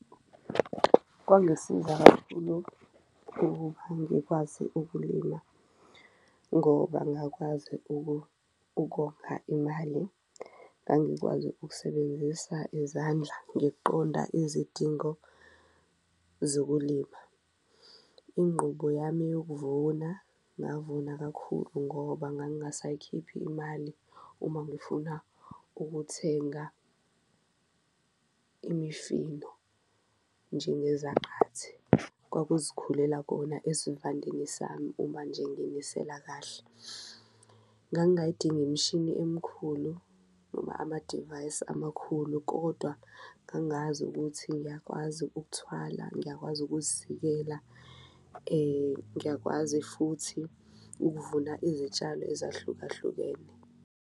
Kwangisiza kakhulu ukuba ngikwazi ukulima ngoba ngakwazi ukonga imali, ngangikwazi ukusebenzisa izandla ngiqonda izidingo zokulima, ingqubo yami eyokuvuna ngavuna kakhulu ngoba ngangasayikhiphi imali uma ngifuna ukuthenga imifino njengezaqathi. Kwakuzikhulela kona esivandeni sami uma nje nginisela kahle, ngangayidingi imishini emkhulu noma amadivayisi amakhulu kodwa ngangazi ukuthi ngiyakwazi ukuthwala, ngiyakwazi ukuzivikela ngiyakwazi futhi ukuvuna izitshalo ezahlukahlukene.